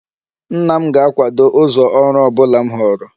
Nna m ga-akwado ụzọ ọrụ ọ bụla m họọrọ